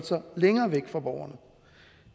sig længere væk fra borgerne